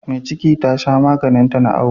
Me ciki Tasha maganin ta na awo